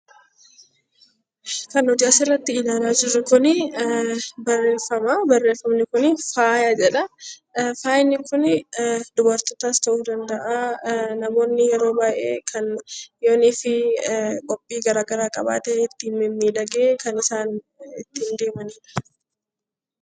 Kan nuti asirratti ilaalaa jirru kun barreeffama faaya jedhudha. Faayni kun dubartootas ta'uu danda'a, namoonni yeroo baay'ee qophii garaa garaa yogguu qabaatan ittiin mimmiidhaganii deemanidha.